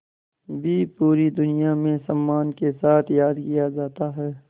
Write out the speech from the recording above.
भी पूरी दुनिया में सम्मान के साथ याद किया जाता है